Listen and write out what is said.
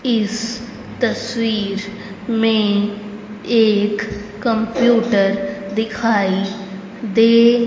इस तस्वीर में एक कंप्यूटर दिखाई दे--